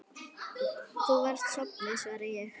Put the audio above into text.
Þú varst sofnuð, svara ég.